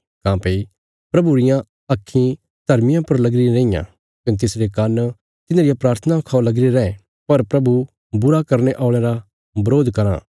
काँह्भई प्रभु रियां आक्खीं धर्मियां पर लगी रियां रैईं कने तिसरे कान्न तिन्हां रिया प्राथनां खौ लगीरे रैं पर प्रभु बुरा करने औल़यां रा बरोध कराँ